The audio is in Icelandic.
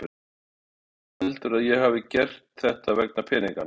Heldur hann að ég hafi gert þetta vegna peninganna?